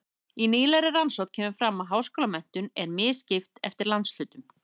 Í nýlegri rannsókn kemur fram að háskólamenntun er misskipt eftir landshlutum.